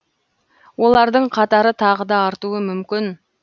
олардың қатары тағы да артуы мүмкін